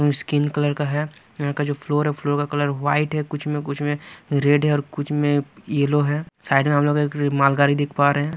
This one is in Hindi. स्किन कलर का है यहां का जो फ्लोर फ्लोर का कलर व्हाइट है कुछ में कुछ में रेड है और कुछ में येलो है साइड में हम लोग एख रे मालगारी देख पा रहे हैं।